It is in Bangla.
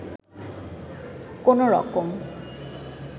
কোনো রকম